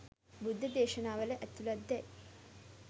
බුද්ධ දේශනාවල ඇතුළත් දැ යි